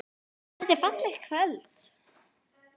Þetta er fallegt kvöld.